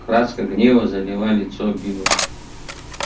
краска гнева залила лицо билла